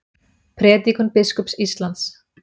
Prédikun biskups Íslands